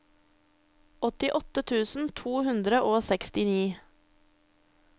åttiåtte tusen to hundre og sekstini